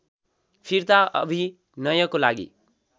फिर्ता अभिनयको लागि